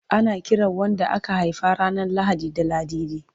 Ana kiran wadda aka haifa ranar Lahadi da Ladidi.